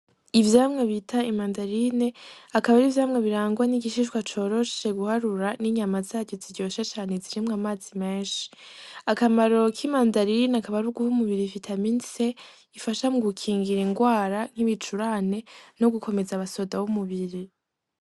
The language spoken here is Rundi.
Ivyamwa bita imandarine akaba ari ivyamwa birangwa n'igishishwa coroshe guharura, n'inyama zaco ziryoshe cane, zirimwo amazi menshi. Akamaro k'imandarine akaba ari uguha umubiri vitamine C, ifasha mu gukingira indwara nk'ibicurane no gukomeza abasoda b'umubiri.